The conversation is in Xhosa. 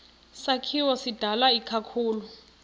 sakhiwo sidalwe ikakhulu